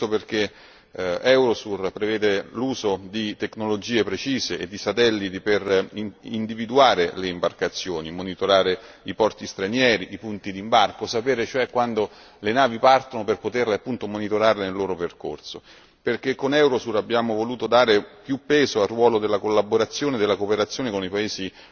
Questo perché Eurosur prevede l'uso di tecnologie precise e di satelliti per individuare le imbarcazioni, monitorare i porti stranieri, i punti di imbarco, sapere cioè quando le navi partono per poterle, appunto, monitorare nel loro percorso. Perché, con Eurosur, abbiamo voluto dare più peso al ruolo della collaborazione e della cooperazione con i paesi